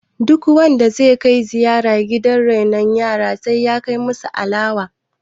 duk wanda zai Kai ziyara gidan renon yara ya kai musu alawa!